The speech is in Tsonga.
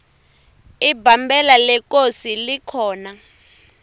ibambela lekosi likhona